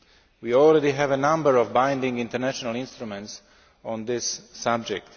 We already have a number of binding international instruments on this subject.